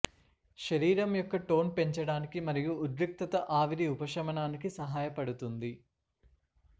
శరీరం యొక్క టోన్ పెంచడానికి మరియు ఉద్రిక్తత ఆవిరి ఉపశమనానికి సహాయపడుతుంది